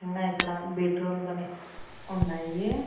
ఉన్నాయి అక్కడ bed roll కానీ ఉన్నాయి.